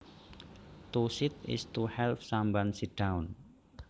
To seat is to help someone sit down